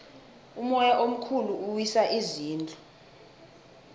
umoya omkhulu uwisa izindlu